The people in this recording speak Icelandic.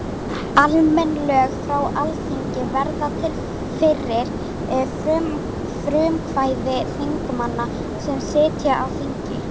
Almenn lög frá Alþingi verða til fyrir frumkvæði þingmanna sem sitja á þingi.